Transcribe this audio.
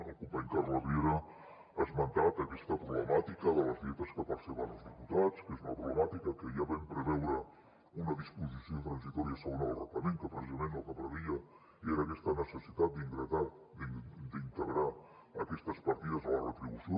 el company carles riera ha esmentat aquesta problemàtica de les dietes que perceben els diputats que és una problemàtica que ja vam preveure una disposició transitòria segona del reglament que precisament el que preveia era aquesta necessitat d’integrar aquestes partides a la retribució